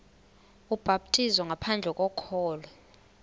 ubhaptizo ngaphandle kokholo